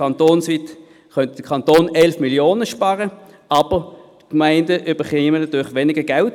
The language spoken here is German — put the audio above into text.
Kantonsweit könnte der Kanton 11 Mio. Franken sparen, aber die Gemeinden bekämen natürlich weniger Geld.